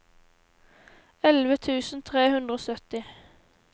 elleve tusen tre hundre og sytti